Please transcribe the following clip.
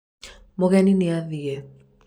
mũgeni nĩ athie